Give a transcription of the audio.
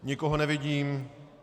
Nikoho nevidím.